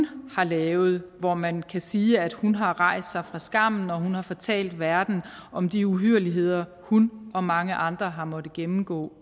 har lavet og man kan sige at hun har rejst sig fra skammen hun har fortalt verden om de uhyrligheder hun og mange andre har måttet gennemgå